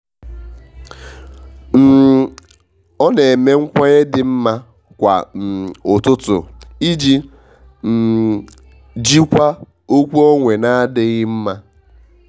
um ọ na eme nkwenye dị mma kwa um ụtụtụ iji um jikwaa okwu onwe n'adịghị mma.